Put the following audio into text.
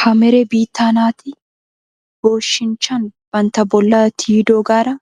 Hamere biittaa naati booshinchchan bantta bollaa tiyidoogaara